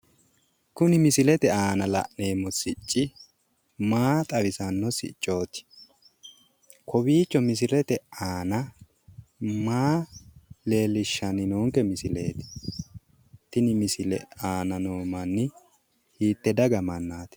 kuni misilete aana la'neemmo sicci maa xawissannonke siccooti? kowiicho misilete aana maa leellishshanke misileeti tenne misile aana noo manni hiitte daga mannaati?